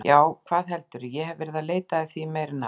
Já, hvað heldurðu, ég hef verið að leita að því í meira en ár.